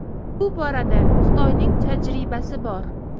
Bu borada Xitoyning tajribasi bor.